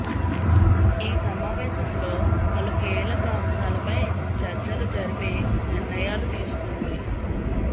ఈ సమావేంలో పలు కీలక అంశాలపై చర్చలు జరిపి నిర్ణయాలు తీసుకుంది